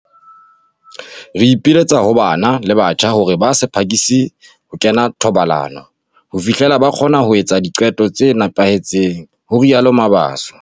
"Re ipiletsa ho bana le batjha hore ba se phakise ho kena ho tsa thobalano ho fihlela ba kgona ho etsa diqeto tse nepahetseng," ho rialo Mabaso.